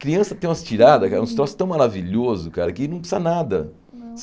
Criança tem umas tiradas cara, uns troços tão maravilhoso, cara, que não precisa nada.